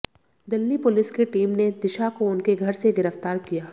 Delhi police की team ने दिशा को उनके घर से गिरफ्तार किया